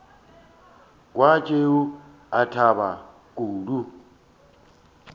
kwa tšeo a thaba kudu